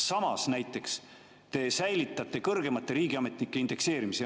Samas te näiteks säilitate kõrgemate riigiametnike indekseerimise.